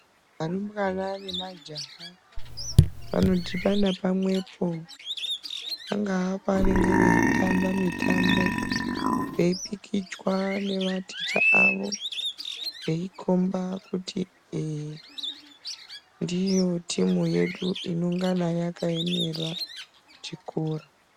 Arumbwana nemajaha, anodhibana pamwepo pangaa pavanenge veyitamba mutambo, eyi pikichwa nevaticha avo, veyi komba kuti eee, ndiyo timu yedu inongana yakayemera chikora.